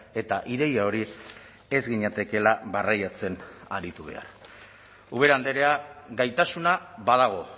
eta ideia hori ez ginatekeela barreiatzen aritu behar ubera andrea gaitasuna badago